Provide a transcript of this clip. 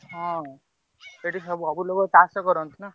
ହଁ ସେଠି ସବୁ ଲୋକ ଚାଷ କରନ୍ତି ନାଁ।